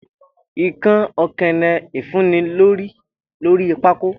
ikán okeene ifunni lori pákó.